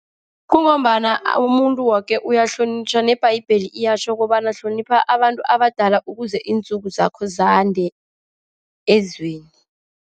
Kungombana umuntu woke uyahlonitjhwa. Nebhayibheli liyatjho kobana hlonipha abantu abadala ukuze intsuku zakho zande ezweni.